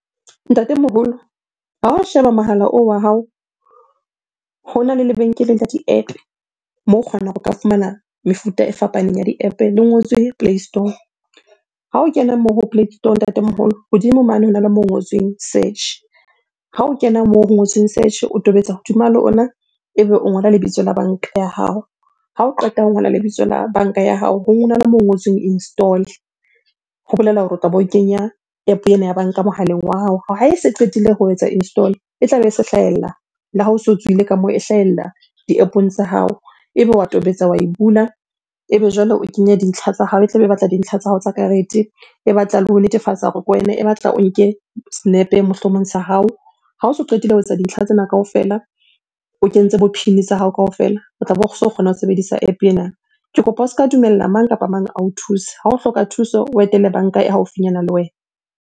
Ntatemoholo ha o sheba mohala oo wa hao, hona le lebenkele la di-App-e moo o kgonang ho ka fumana mefuta e fapaneng ya di-App-e le ngotswe play store. Ha o kena moo ho play store ntatemoholo, hodimo mane hona le moo ho ngotsweng search. Ha o kena moo ho ngotsweng search, o tobetsa hodima lona ebe o ngola lebitso la banka ya hao. Ha o qeta ho ngola lebitso la banka ya hao, hona le moo ho ngotsweng install. Ho bolela hore o tlabe o kenya App-o ena ya banka mohaleng wa hao. Ha e se qetile ho etsa install, e tlabe e se hlahella le ha o se tswile ka moo, e hlahella di-App-ong tsa hao. Ebe wa tobetsa, wa e bula ebe jwale o kenya dintlha tsa hao. E tlabe e batla dintlha tsa hao tsa karete, e batla le ho netefatsa hore ke wena, e batla o nke senepe mohlomong sa hao. Ha o so qetile ho etsa dintlha tsena kaofela, o kentse bo PIN tsa hao kaofela. O tlabe o so kgona ho sebedisa App-e ena. Ke kopa o ska dumella mang kapa mang ao thuse. Ha o hloka thuso, o etele banka e haufinyana le wena.